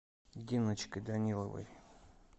диночкой даниловой